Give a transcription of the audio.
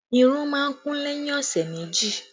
Irun má ń kún lẹ́yìn ọ̀sẹ̀ méjì